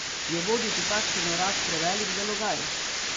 Je voditi takšen urad prevelik zalogaj?